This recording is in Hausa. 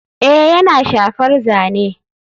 Ee yana shafar zane.